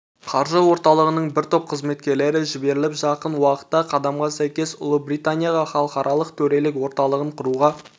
қаржы орталығының бір топ қызметкерлері жіберіліп жақын уақытта қадамға сәйкес ұлыбританияға халықаралық төрелік орталығын құруға